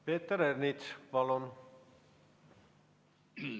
Peeter Ernits, palun!